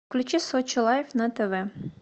включи сочи лайф на тв